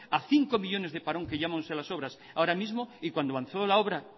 a cinco millónes de parón que llevamos ahora mismo y cuando avanzó la obra